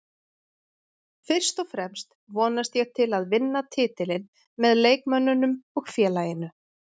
Fyrst og fremst vonast ég til að vinna titilinn með leikmönnunum og félaginu